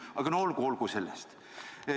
Aga no olgu, see selleks.